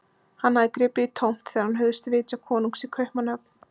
Hann hafði gripið í tómt þegar hann hugðist vitja konungs í Kaupmannahöfn.